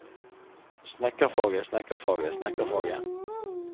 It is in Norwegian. snekkerfaget snekkerfaget snekkerfaget